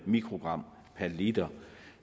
mikrogram per liter